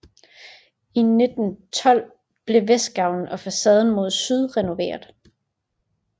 I 1912 blev vestgavlen og facaden mod syd renoveret